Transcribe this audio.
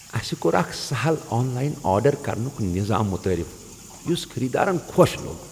اسہ کوٚر اکھ سہل آن لاین آرڈر کرنک نظام متعارف یس خریدارن خۄش لوٚگ۔